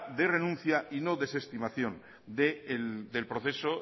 de renuncia y no desestimación del proceso